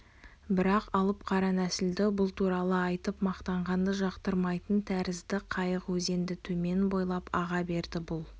бірақ алып қара нәсілді бұл туралы айтып мақтағанды жақтырмайтын тәрізді қайық өзенді төмен бойлап аға берді бұл